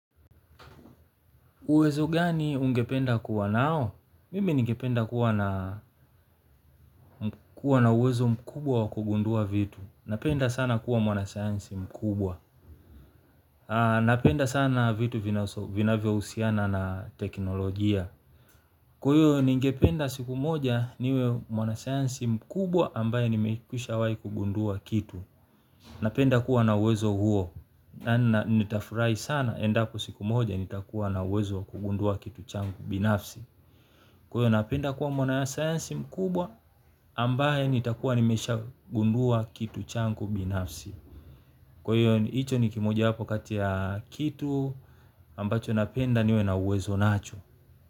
Uwezo gani ungependa kuwa nao? Mimi ningependa kuwa na uwezo mkubwa wa kugundua vitu. Napenda sana kuwa mwanasayansi mkubwa. Napenda sana vitu vinavyohusiana na teknolojia. Kwa hiyo ngependa siku moja niwe mwanasayansi mkubwa ambaye nimekwisha wai kugundua kitu. Napenda kuwa na uwezo huo. Na nitafurahi sana endapo siku moja nitakuwa na uwezo wa kugundua kitu changu binafsi. Kwa hiyo napenda kuwa mwanasayansi mkubwa ambaye nitakuwa nimeshagundua kitu changu binafsi. Kwa hiyo hicho ni kimoja wapo kati ya kitu ambacho napenda niwe na uwezo nacho.